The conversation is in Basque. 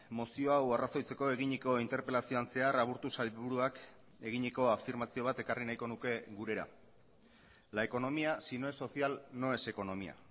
mozio hau arrazoitzeko eginiko interpelazioan zehar aburtu sailburuak eginiko afirmazio bat ekarri nahiko nuke gurera la economía si no es social no es economía